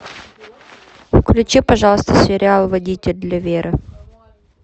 включи пожалуйста сериал водитель для веры